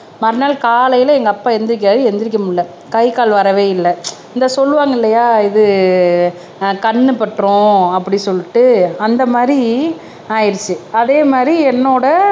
மறுநாள் காலையில எங்க அப்பா எந்திரிக்காரு எந்திரிக்க முடியலை கை கால் வரவே இல்லை இந்தா சொல்லுவாங்க இல்லையா இது அஹ் கண்ணு பட்டுரும் அப்படி சொல்லிட்டு அந்த மாதிரி ஆயிடுச்சு அதே மாதிரி என்னோட